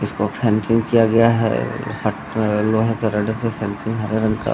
इसको फेंसिंग किया गया है शट अ लोहे का रड से फेंसिंग हरे रंग का।